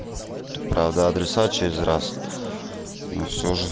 правда адреса через раз но все же